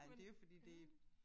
Men ærgerligt